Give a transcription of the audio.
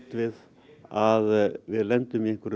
við að við lendum í